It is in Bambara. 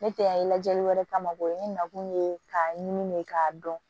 Ne tɛ yan lajɛli wɛrɛ kama o ye ne nakun ye k'a ɲimi de k'a dɔn